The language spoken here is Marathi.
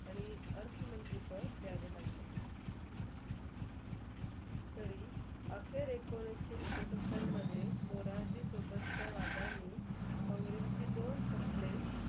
आणि अर्थमंत्री पध दियावे लागले तरी मोरारजी सोबतच्या वंध्यानी कॉंग्रेसचे दोन शकले.